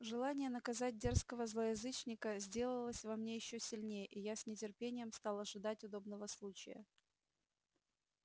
желание наказать дерзкого злоязычника сделалось во мне ещё сильнее и я с нетерпением стал ожидать удобного случая